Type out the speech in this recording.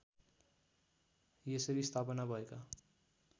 यसरी स्थापना भएका